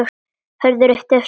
Hörður yppti öxlum.